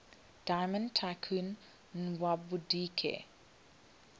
diamond tycoon nwabudike